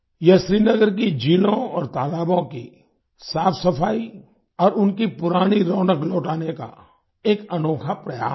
यह श्रीनगर की झीलों और तालाबों की साफसफाई और उनकी पुरानी रौनक लौटाने का एक अनोखा प्रयास है